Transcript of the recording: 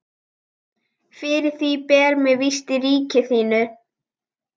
Fyrir því ber mér vist í ríki þínu.